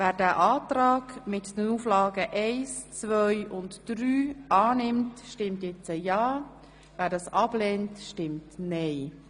Wer den Kreditantrag mit den Auflagen 1–3 annimmt, stimmt ja, wer ihn ablehnt, stimmt nein.